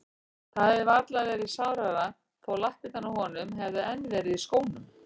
Það hefði varla verið sárara þó lappirnar á honum hefðu enn verið í skónum.